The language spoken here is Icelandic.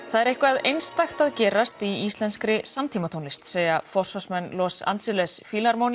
það er eitthvað einstakt að gerast í íslenskri samtímatónlist segja forsvarsmenn Los Angeles